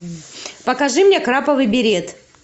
покажи мне краповый берет